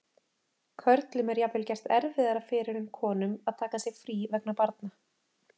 Körlum er jafnvel gert erfiðara fyrir en konum að taka sér frí vegna barna.